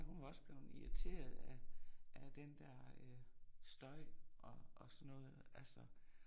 Hun var også blevet irriteret af af den der øh støj og sådan noget altså